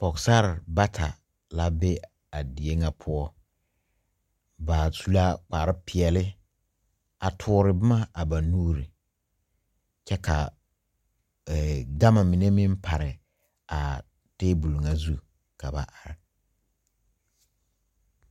Pɔgsarre bata la be a deɛ nga puo ba su la kpare peɛle a tuuri buma a ba nuuri kye ka gama mene meng pare a tabol zu ka ba arẽ.